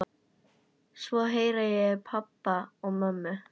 Svo heyri ég í pabba og mömmu.